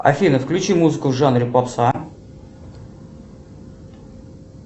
афина включи музыку в жанре попса